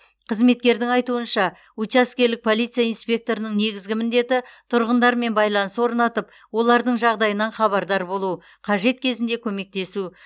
қызметкердің айтуынша учаскелік полиция инспекторының негізгі міндеті тұрғындармен байланыс орнатып олардың жағдайынан хабардар болу қажет кезінде көмектесу